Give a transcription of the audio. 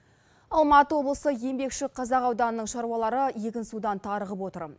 алматы облысы еңбекшіқазақ ауданының шаруалары егінсудан тарығып отыр